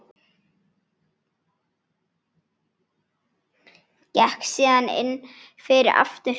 Gekk síðan inn fyrir aftur.